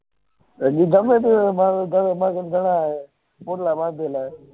હમાર ધંધા મા આવે